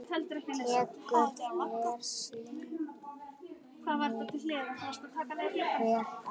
Tekur hver sýning vel á?